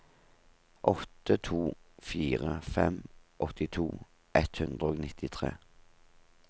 åtte to fire fem åttito ett hundre og nittitre